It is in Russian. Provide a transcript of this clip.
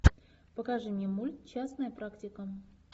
покажи мне мульт частная практика